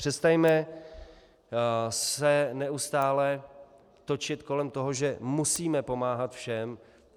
Přestaňme se neustále točit kolem toho, že musíme pomáhat všem.